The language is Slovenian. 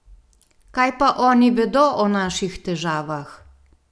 Kaj pa oni vedo o naših težavah?